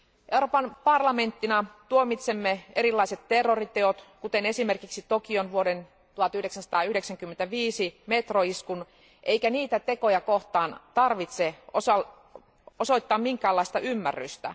Euroopan parlamenttina tuomitsemme erilaiset terroriteot, kuten esimerkiksi Tokion vuoden 1995 metroiskun, eikä niitä tekoja kohtaan tarvitse osoittaa minkäänlaista ymmärrystä.